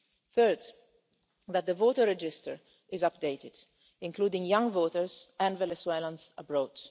Third, that the voter register is updated, including young voters and Venezuelans abroad.